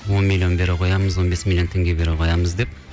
он миллион бере қоямыз он бес миллион теңге бере қоямыз деп